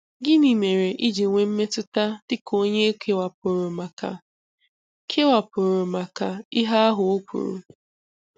Gịnị mere i ji nwee mmetụta dị ka onye e kewapụrụ maka kewapụrụ maka ihe ahụ o kwuru.